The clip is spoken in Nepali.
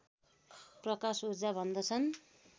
प्रकाश ऊर्जा भन्दछन्